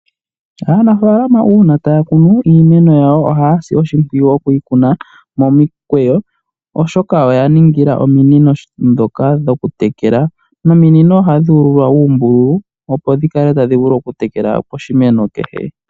Aanafaalama uuna taya kunu iimeno yawo ohaya si oshimpwiyu okuyi kuna momikweyo, oshoka oya ningila ominino dhokutekela, nominino ohadhi ululwa uumbululu, opo dhi kale tadhi vulu okutekela poshimeno kehe.